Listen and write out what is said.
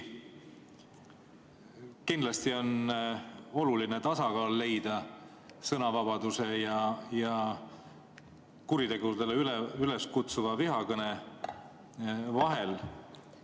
Kindlasti on oluline leida tasakaal sõnavabaduse ja kuritegudele üleskutsuva vihakõne vahel.